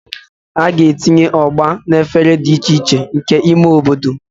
A ga-etinye Ugba na efere dị iche iche nke ime obodo.